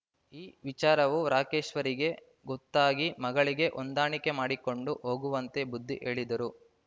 ಈ ವಿಚಾರವು ರಾಕೇಶ್ವರಿಗೆ ಗೊತ್ತಾಗಿ ಮಗಳಿಗೆ ಹೊಂದಾಣಿಕೆ ಮಾಡಿಕೊಂಡು ಹೋಗುವಂತೆ ಬುದ್ಧಿ ಹೇಳಿದ್ದರು